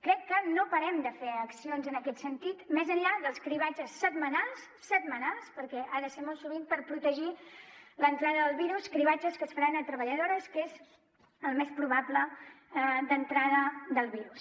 crec que no parem de fer accions en aquest sentit més enllà dels cribratges setmanals perquè han de ser molt sovint per protegir l’entrada del virus cribratges que es faran a treballadores que és el camí més probable d’entrada del virus